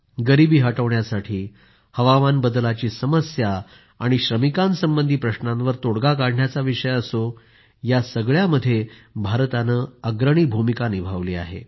गरीबी हटविण्यासाठी हवामान बदलाची समस्या आणि श्रमिकांसंबंधी प्रश्नांवर तोडगा काढण्याचा विषय असो या सर्वांमध्ये भारताने अग्रणी भूमिका निभावत आहे